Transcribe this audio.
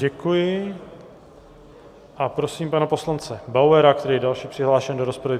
Děkuji a prosím pana poslance Bauera, který je další přihlášen do rozpravy.